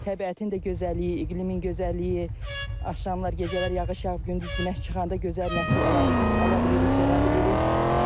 Təbiətin də gözəlliyi, iqlimin gözəlliyi, axşamlar gecələr yağış yağıb, gündüz günəş çıxanda gözəl məhsul ala bilirik, yığa bilirik.